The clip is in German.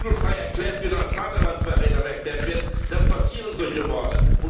Wenn jemand für vogelfrei erklärt und als Vaterlandsverräter bezeichnet wird, dann passieren solche Morde.